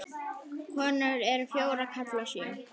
Konur eru fjórar, karlar sjö.